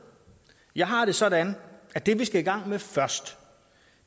jeg har det sådan at det vi skal i gang med først